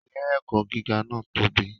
Ilé-ẹ̀kọ́ gíga náà tóbi.